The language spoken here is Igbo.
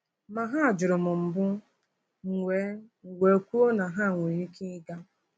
Ma, ha jụrụ m mbụ, m wee m wee kwuo na ha nwere ike ịga.”